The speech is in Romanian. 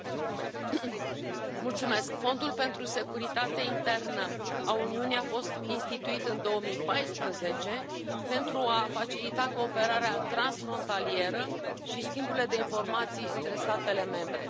Domnule președinte, Fondul pentru securitatea internă a Uniunii a fost instituit în 2014 pentru a facilita cooperarea transfrontalieră și schimburile de informații între statele membre.